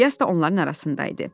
İlyas da onların arasında idi.